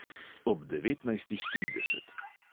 Ob devetnajstih trideset.